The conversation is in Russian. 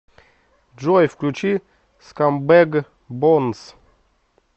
джой включи скамбэг бонс